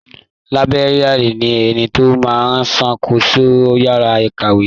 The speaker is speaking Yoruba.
Làìbéríànì ni ẹni tó máa ń ṣàkóso yàrá ìkàwé.